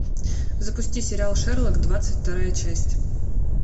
запусти сериал шерлок двадцать вторая часть